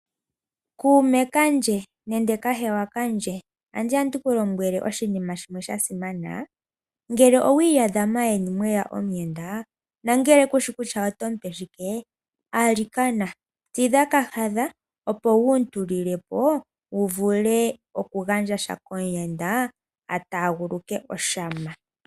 Kuume kandje nenge kahewa kandje, andi ya ndi ku lombwele oshinima shimwe sha simana. Ngele owi iyadha maayeni mwe ya omuyenda nongele ku shi kutya oto mu pe shike, alikana tidha kahadha, opo wu mu tulile po wu vule okugandja sha komuyenda a taaguluke oshama.